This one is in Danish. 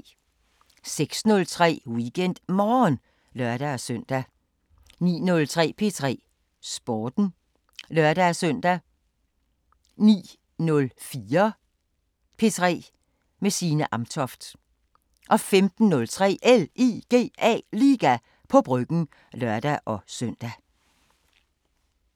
06:03: WeekendMorgen (lør-søn) 09:03: P3 Sporten (lør-søn) 09:05: Selskabet 14:03: P3 med Signe Amtoft 15:03: LIGA på Bryggen (lør-søn)